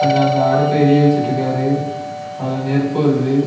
இங்க அந்த அடுப்பு எரிய வச்சுட்டுக்காரு அதுல நெருப்பு வருது.